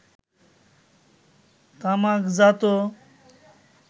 তামাকজাত